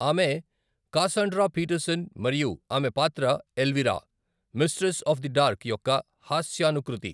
ఆమె Cassandra Peterson మరియు ఆమె పాత్ర Elvira, mistress of the dark యొక్క హాస్యానుకృతి.